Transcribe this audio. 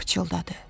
Pıçıldadı.